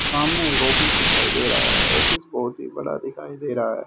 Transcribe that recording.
सामने एक ऑफिस दिखाई दे रहा है ऑफिस बहुत ही बड़ा दिखाई दे रहा है।